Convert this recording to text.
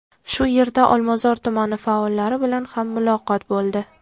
Shu yerda Olmazor tumani faollari bilan ham muloqot bo‘ldi.